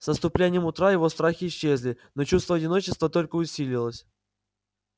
с наступлением утра его страхи исчезли но чувство одиночества только усилилось